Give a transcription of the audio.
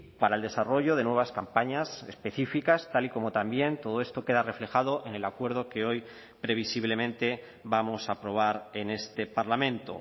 para el desarrollo de nuevas campañas específicas tal y como también todo esto queda reflejado en el acuerdo que hoy previsiblemente vamos a aprobar en este parlamento